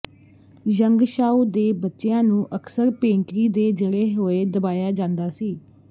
Yangshao ਦੇ ਬੱਚਿਆਂ ਨੂੰ ਅਕਸਰ ਪੇਂਟਰੀ ਦੇ ਜੜੇ ਹੋਏ ਦਬਾਇਆ ਜਾਂਦਾ ਸੀ